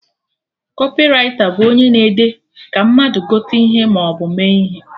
Kọpịraita bụ onye na-ede ka mmadụ gote ihe maọbụ mee ihe